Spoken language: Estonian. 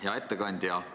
Hea ettekandja!